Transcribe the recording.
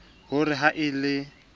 ho re ha e a